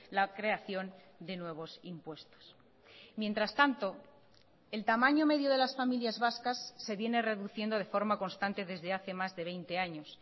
la creación de nuevos impuestos mientras tanto el tamaño medio de las familias vascas se viene reduciendo de forma constante desde hace más de veinte años